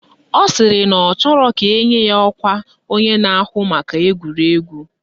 Ọ sịrị na ọ chọrọ ka enye ya ọkwa onye na-ahụ maka egwuregwu